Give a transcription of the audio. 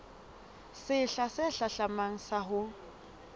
sehla se hlahlamang sa ho